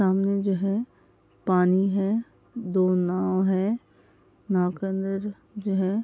सामने जो है पानी है दो नाव है नाव के अंदर जो है --